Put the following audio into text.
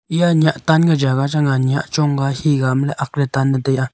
iya nyah tan kaa jagah chang aa nyah chong ka he ka am le akk le tan le taiya.